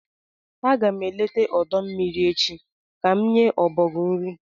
Aga m eleta ọdọ mmiri echi ka m nye ọbọgwụ nrị